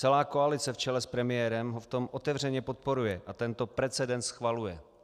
Celá koalice v čele s premiérem ho v tom otevřeně podporuje a tento precedent schvaluje.